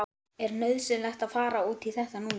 Er nauðsynlegt að fara út í þetta núna?